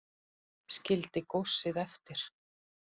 Skildi góssið eftir